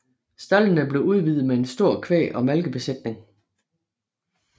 Staldene blev udvidet med en stor kvæg og malkebesætning